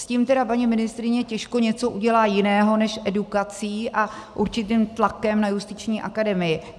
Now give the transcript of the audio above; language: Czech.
S tím tedy paní ministryně těžko něco udělá jiného než edukací a určitým tlakem na Justiční akademii.